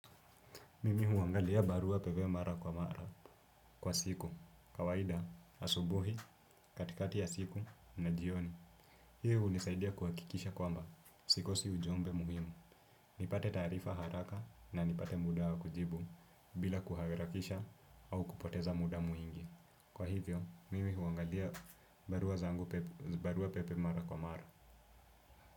Mimi huangalia barua pepe mara kwa mara kwa siku, kawaida, asubuhi, katikati ya siku na jioni. Hii hunisaidia kuhakikisha kwamba, sikosi ujumbe muhimu. Nipate taarifa haraka na nipate muda wa kujibu bila kuharakisha au kupoteza muda mwingi. Kwa hivyo, mimi huangalia barua zangu pepe, barua pepe mara kwa mara.